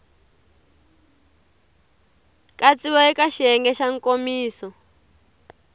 katsiwa eka xiyenge xa nkomiso